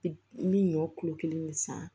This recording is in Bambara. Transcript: Bi n bɛ ɲɔ kulo kelen ne san